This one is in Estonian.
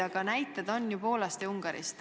Aga näiteid on ju Poolast ja Ungarist.